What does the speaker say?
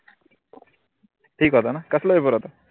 ठीक होतान. कसला पेपर होता?